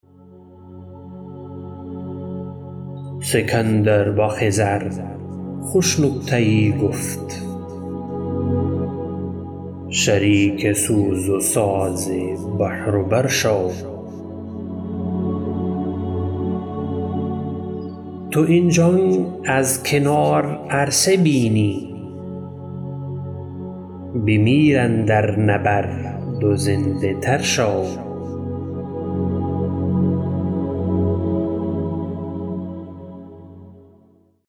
سکندر با خضر خوش نکته یی گفت شریک سوز و ساز بحر و بر شو تو این جنگ از کنار عرصه بینی بمیر اندر نبرد و زنده تر شو